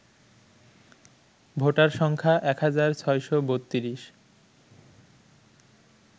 voter সংখ্যা ১৬৩২